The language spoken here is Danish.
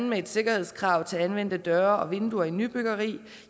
med et sikkerhedskrav til anvendte døre og vinduer i nybyggeri